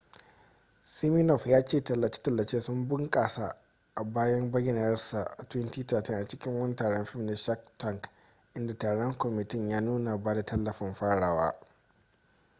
siminoff ya ce tallace-tallace sun bunkasa bayan bayyanarsa a 2013 a cikin wani taron fim na shark tank inda taron kwamitin ya nuna ba da tallafin farawa